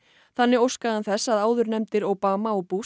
þannig óskaði hann þess að áðurnefndir Obama og